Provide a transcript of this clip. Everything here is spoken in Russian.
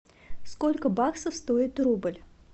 сколько баксов стоит рубль